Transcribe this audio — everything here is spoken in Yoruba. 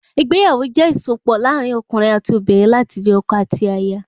Ìgbéyàwó jẹ ìsopọ̀ láàrin okùnrin ati obìnrin láti di ọkọ àti aya